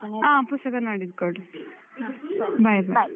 ಹಾ ಪುಸ್ತಕ ನಾಡಿದ್ದು ಕೊಡಿ. bye, bye.